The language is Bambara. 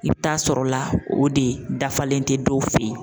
I bɛ taa sɔrɔ o la o de dafalen tɛ dɔw fɛ ye.